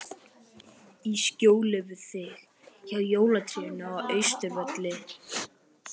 Í skjóli við þig, hjá jólatrénu á Austurvelli.